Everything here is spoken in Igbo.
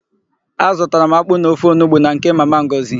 Azụtara m akpụ na ofe onugbu na nke Mama Ngọzị.